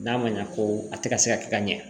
N'a ma ɲa ko a tɛ ka se ka kɛ ka ɲɛ